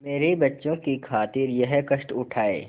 मेरे बच्चों की खातिर यह कष्ट उठायें